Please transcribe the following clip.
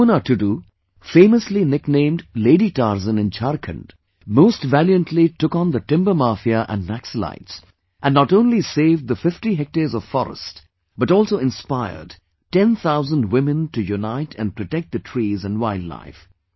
JamunaTudu, famous nicknamed 'Lady Tarzan' in Jharkhand, most valiantly took on the Timber Mafia and Naxalites, and not only saved the 50 hectares of forest but also inspired ten thousand women to unite and protect the trees and wildlife